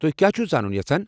تُہۍ کیٛاہ چھو زانُن یژھان ؟